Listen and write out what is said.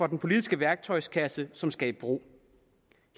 den politiske værktøjskasse som skal i brug